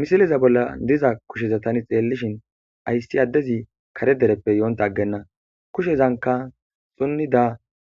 misileza bolla diza kusheza tani xeellishin ayssi addezi kare dereppe yoonta aggenna kushezanka xunnida